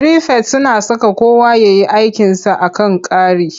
Firifet suna saka kowa ya yi aikinsa a kan kari.